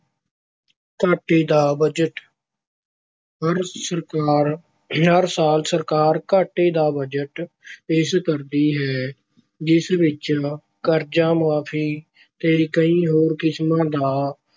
ਘਾਟੇ ਦਾ ਬਜਟ- ਹਰ ਸਰਕਾਰ ਹਰ ਸਾਲ ਸਰਕਾਰ ਘਾਟੇ ਦਾ ਬਜਟ ਪੇਸ਼ ਕਰਦੀ ਹੈ ਜਿਸ ਵਿੱਚ ਕਰਜ਼ਾ ਮੁਆਫ਼ੀ ਤੇ ਕਈ ਹੋਰ ਕਿਸਮਾਂ ਦਾ